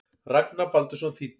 Ragnar Baldursson þýddi.